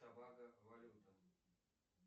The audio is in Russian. тобаго валюта